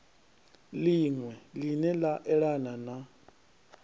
liṅwe line la elana na